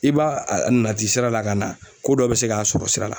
I b'a a nati sira la ka na ko dɔ be se k'a sɔrɔ sira la.